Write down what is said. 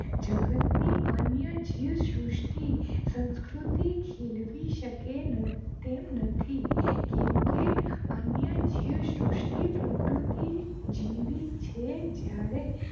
જગતની અન્ય જીવશ્રુસતી સંસ્કૃતિ ખીલવી સકે ન તેમ નથી કેમકે અન્ય જીવશ્રુસતી પ્રકૃતિ જીવી છે જ્યારે